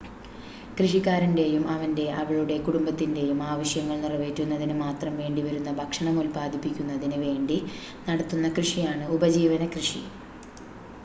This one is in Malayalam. കൃഷിക്കാരന്റെയും അവന്റെ/അവളുടെ കുടുംബത്തിന്റെയും ആവശ്യങ്ങൾ നിറവേറ്റുന്നതിന് മാത്രം വേണ്ടിവരുന്ന ഭക്ഷണം ഉൽപാദിപ്പിക്കുന്നതിന് വേണ്ടി നടത്തുന്ന കൃഷിയാണ് ഉപജീവന കൃഷി